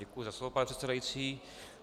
Děkuji za slovo, pane předsedající.